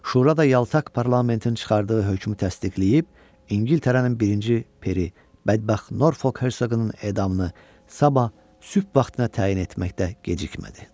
Şura da yaltaq parlamentin çıxardığı hökmü təsdiqləyib, İngiltərənin birinci peri, bədbəxt Norfok Hersoqunun edamını sabah sübh vaxtına təyin etməkdə gecikmədi.